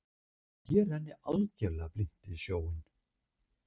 Ég renni algjörlega blint í sjóinn.